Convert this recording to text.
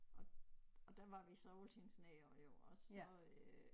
Og og der var vi så altid nede jo og så øh